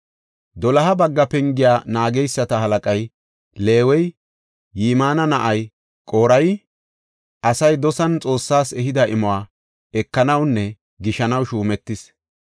Doloha bagga pengiya naageysata halaqay Leewey, Yimina na7ay, Qorey, asay dosan Xoossas ehida imuwa ekanawunne gishanaw shuumetis.